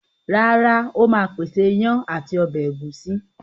Rárá, Ó ma pèsè iyán ati ọbẹ̀ ẹ̀gúsí